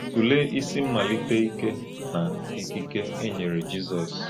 Tụlee isi mmalite ike na ikike e nyere Jizọs.